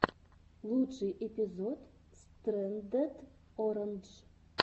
лучший эпизод стрэндед орандж